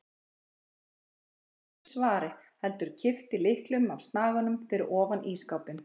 Hann beið ekki eftir svari heldur kippti lyklinum af snaganum fyrir ofan ísskápinn.